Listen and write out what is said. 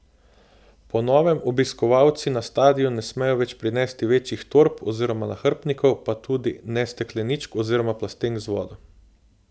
Po novem obiskovalci na stadion ne smejo več prinesti večjih torb oziroma nahrbtnikov, pa tudi ne stekleničk oziroma plastenk z vodo.